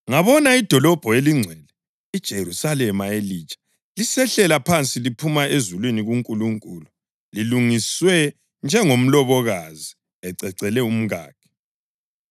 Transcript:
Ngabona iDolobho eliNgcwele, iJerusalema elitsha, lisehlela phansi liphuma ezulwini kuNkulunkulu lilungiswe njengomlobokazi ececele umkakhe.